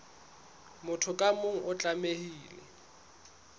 motho ka mong o tlamehile